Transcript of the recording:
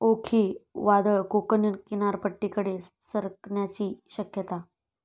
ओखी वादळ कोकण किनारपट्टीकडे सरकण्याची शक्यता